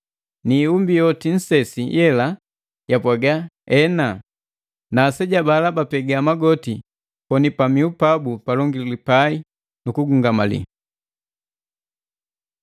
Ni iumbi yomi nsesi yela yapwaga, “Ena.” Na aseja bala bapega magoti koni pamiu pabu palonguli pai, nu kugungamali.